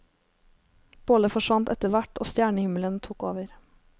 Bålet forsvant etter hvert og stjernehimmelen tok over.